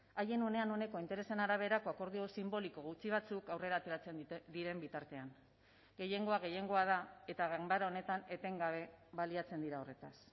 haien unean uneko interesen araberako akordio sinboliko gutxi batzuk aurrera ateratzen diren bitartean gehiengoa gehiengoa da eta ganbara honetan etengabe baliatzen dira horretaz